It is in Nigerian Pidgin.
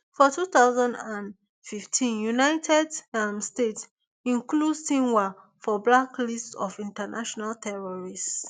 for two thousand and fifteen united um state include sinwar for blacklist of international terrorist